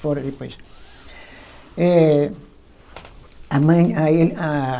depois. Eh, a mãe aí a